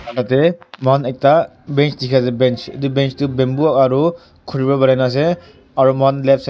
Tateh mokhan ekta bench dekhe ase bench etu bench tuh bamboo aro khuri pra banaina ase aro mokhan left side --